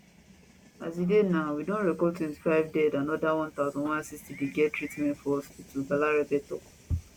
as e dey now we don record 25 dead and oda 1160 dey get treatment for hospitals balarabe tok